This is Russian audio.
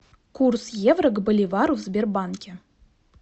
курс евро к боливару в сбербанке